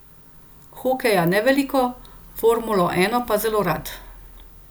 Hokeja ne veliko, formulo ena pa zelo rad.